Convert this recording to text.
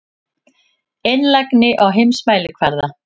Einlægni á heimsmælikvarða.